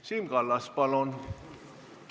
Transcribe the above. Siim Kallas, palun!